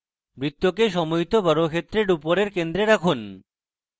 বৃত্তকে সমুহিত বর্গক্ষেত্রের উপরের কেন্দ্রে রাখুন